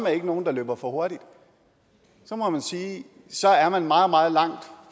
er nogen der løber for hurtigt så må man sige at så er i meget meget langt